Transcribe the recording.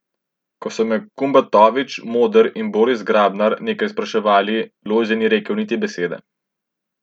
Ko so me Kumbatovič, Moder in Boris Grabnar nekaj spraševali, Lojze ni rekel niti besede.